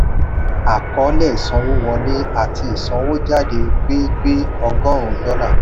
àkọọ́lẹ̀ ìsanwówọlé àti ìsanwójáde gbé gbé ọgọ́rùn-ún dọ́là